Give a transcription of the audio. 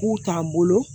K'u t'an bolo